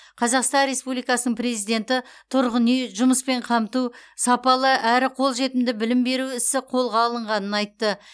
қазақстан республикасының президенті тұрғын үй жұмыспен қамту сапалы әрі қолжетімді білім беру ісі қолға алынғанын айтты